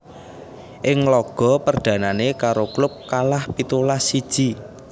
Ing laga perdhanané karo klub kalah pitulas siji